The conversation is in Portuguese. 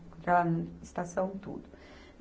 Encontrar ela na estação, tudo.